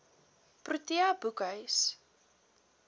protea boekhuis